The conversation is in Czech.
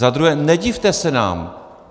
Za druhé, nedivte se nám.